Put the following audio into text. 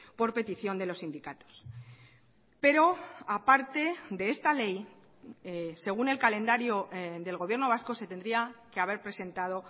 por petición de los sindicatos pero aparte de esta ley según el calendario del gobierno vasco se tendría que haber presentado